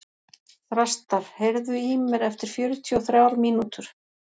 Þrastar, heyrðu í mér eftir fjörutíu og þrjár mínútur.